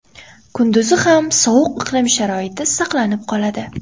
Kunduzi ham sovuq iqlim sharoiti saqlanib qoladi.